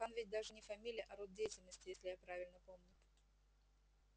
хан ведь даже не фамилия а род деятельности если я правильно помню